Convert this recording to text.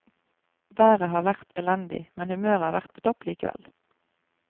Været har vært elendig, men humøret har vært på topp likevel.